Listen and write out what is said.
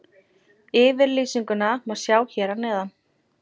Yfirlýsinguna má sjá hér að neðan.